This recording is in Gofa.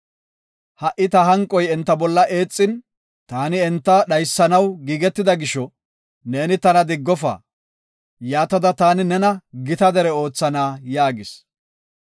Ha77i ta hanqoy enta bolla eexin, taani enta dhaysanaw giigetida gisho, neeni tana diggofa. Yaatada, taani nena gita dere oothana” yaagis.